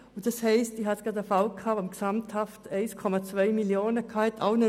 Ich hatte gerade einen Fall, wo an verschiedenen Orten gesamthaft 1,2 Mio. Franken bezogen wurden.